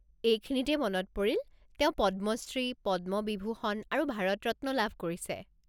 এইখিনিতেই মনত পৰিল, তেওঁ পদ্মশ্ৰী, পদ্মবিভূষণ আৰু ভাৰত ৰত্ন লাভ কৰিছে।